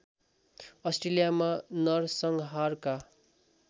अस्ट्रेलियामा नरसंहारका